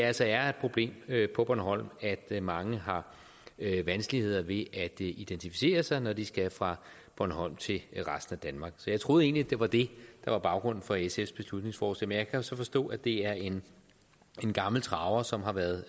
altså er et problem på bornholm at mange har vanskeligheder ved at identificere sig når de skal fra bornholm til resten af danmark så jeg troede egentlig det var det der var baggrunden for sfs beslutningsforslag jo så forstå at det er en gammel traver som har været